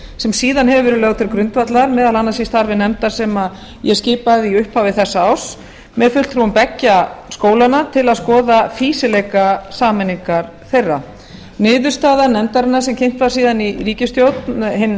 sem síðan hefur verið lögð til grundvallar meðal annars í starfi nefndar sem ég skipaði í upphafi þessa árs með fulltrúum beggja skólanna átt að skoða fýsileika sameiningar þeirra niðurstaða nefndarinnar sem kynnt var síðan í ríkisstjórn hinn